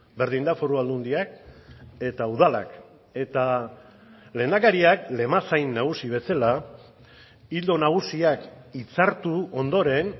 berdin da foru aldundiak eta udalak eta lehendakariak lemazain nagusi bezala ildo nagusiak hitzartu ondoren